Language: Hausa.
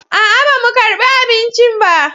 A'a, ba mu karɓi abinci ba